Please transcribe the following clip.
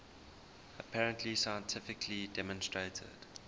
apparently scientifically demonstrated